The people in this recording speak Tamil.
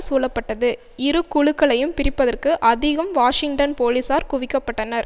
சூழப்பட்டது இரு குழுக்களையும் பிரிப்பதற்கு அதிகம் வாஷிங்டன் போலீசார் குவிக்க பட்டனர்